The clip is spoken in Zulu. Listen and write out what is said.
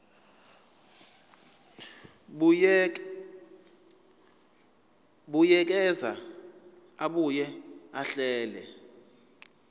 buyekeza abuye ahlele